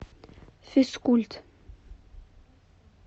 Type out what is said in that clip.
физкульт